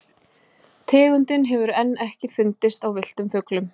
Tegundin hefur enn ekki fundist á villtum fuglum.